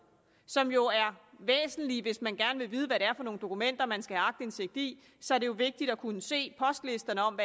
som jo er væsentlige hvis man gerne vil vide hvad det er for nogle dokumenter man skal have aktindsigt i så er det jo vigtigt at kunne se postlisterne om